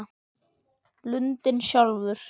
Lundinn sjálfur